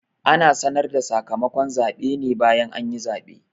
Ana sanar da sakamakon zaɓe ne bayan anyi zaɓe